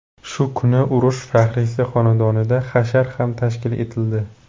Shu kuni urush faxriysi xonadonida hashar ham tashkil etildi.